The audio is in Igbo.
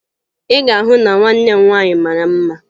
Ị ga-ahụ na nwanne m nwaanyị mara mma